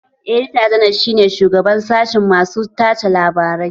Edita janar shi ne shugaban sashen masu tace labarai